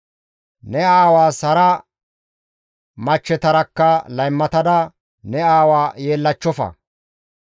«Ne aawaas hara machchetarakka laymatada ne aawa yeellachchofa.